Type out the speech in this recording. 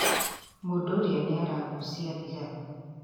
Mũndũ ũria niaragucia thigara